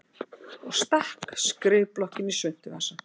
Og stakk skrifblokkinni í svuntuvasann.